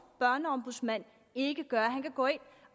børneombudsmand ikke gøre han kan gå ind